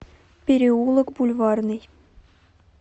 переулок бульварный